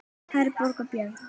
Herborg og Björn.